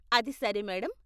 అది సరే, మేడం.